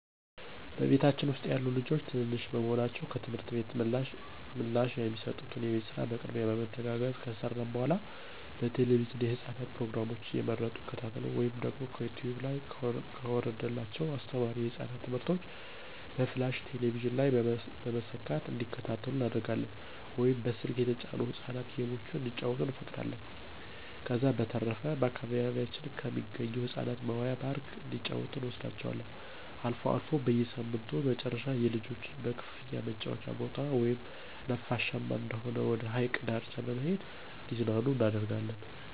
በቤታችን ውስጥ ያሉት ልጆች ትንንሽ በመሆናቸው ከትምህርት ቤት ምላሽ የተሰጡትን የቤት ስራ በቅድሚያ በመተጋገዝ ከሰራን በኃላ በቴለቪዥን የህፃናት ፕሮግራሞችን እየመረጡ ይከታተሉ ወይም ከዩቲውብ ላይ ከወረደላቸው አስተማሪ የህፃናት ትምህርቶችን በፍላሽ ቴሌቪዥን ላይ በመሰካት እንዲከታተሉ እናደርጋለን ወይም በስልክ የተጫኑ የህፃናት ጌሞችን እንዲጫወቱ እንፈቅዳለን። ከዛ በተረፈ በአካባቢያችን ከሚገኝ የህፃናት መዋያ ፓርክ እንዲጫወቱ እንወስዳቸዋለን። አልፎ አልፎ በሳምንቱ መጨረሻ የልጆች በክፍያ መጫወቻ ቦታ ወይም ነፋሻማ ወደሆነ ወደ ሀይቅ ዳርቻ በመሄድ እንዲዝናኑ እናደርጋለን።